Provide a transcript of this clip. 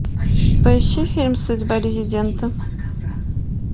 поищи фильм судьба резидента